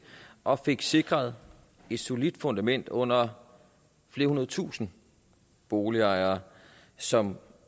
og fik sikret et solidt fundament under flere hundredtusinde boligejere som